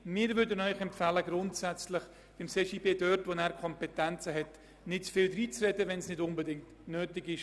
Wir würden Ihnen grundsätzlich empfehlen, dem CJB dort, wo er über Kompetenzen verfügt, nicht zu viel dreinzureden, wenn es nicht unbedingt nötig ist.